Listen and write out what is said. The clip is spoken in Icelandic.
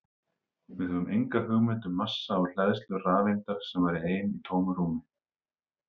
Við höfum enga hugmynd um massa og hleðslu rafeindar sem væri ein í tómu rúmi!